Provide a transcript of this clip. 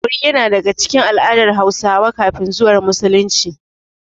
Bori yana daga cikin al'adar Hausawa kafin zuwan Musulunci.